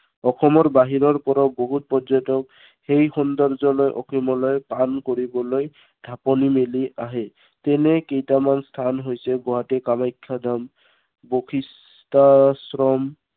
অসমৰ বাহিৰৰ পৰাও বহুত পৰ্যটক, সেই সৌন্দৰ্যলৈ অসমলৈ টান কৰিবলৈ ঢাপলি মেলি আহে। এনে কেইটামান স্থান হৈছে, গুৱাহাটীৰ কামাখ্যা ধাম, বশিষ্ঠাশ্ৰম